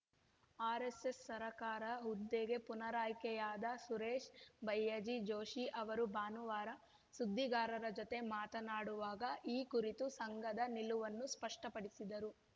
RSS ಸರಕಾರ‍್ಯವಾಹ ಹುದ್ದೆಗೆ ಪುನರಾಯ್ಕೆಯಾದ ಸುರೇಶ ಭಯ್ಯಾಜಿ ಜೋಶಿ ಅವರು ಭಾನುವಾರ ಸುದ್ದಿಗಾರರ ಜತೆ ಮಾತನಾಡುವಾಗ ಈ ಕುರಿತು ಸಂಘದ ನಿಲುವನ್ನು ಸ್ಪಷ್ಟಪಡಿಸಿದರು